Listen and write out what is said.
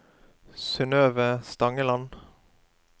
Synnøve Stangeland